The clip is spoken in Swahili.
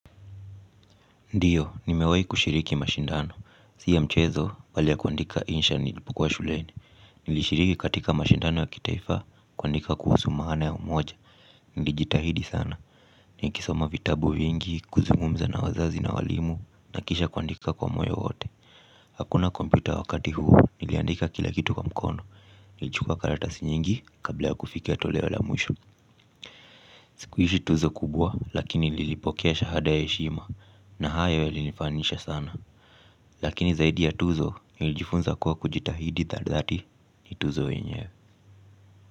Ndio, nimewahi kushiriki mashindano. Si ya mchezo, bali ya kuandika insha nilipokuwa shule. Nilishiriki katika mashindano ya kitaifa, kuandika kuhusu maana ya umoja. Nilijitahidi sana. Nikisoma vitabu vingi, kuzungumza na wazazi na walimu, na kisha kuandika kwa moyo wote. Hakuna kompyuta wakati huo, niliandika kila kitu kwa mkono. Nilichukua karatasi nyingi, kabla ya kufikia toleo la mwisho. Sikuishi tuzo kubwa lakini nilipokea shahada ya heshima na hayo yalinifanisha sana. Lakini zaidi ya tuzo nilijifunza kuwa kujitahidi tadhati ni tuzo wenyeww.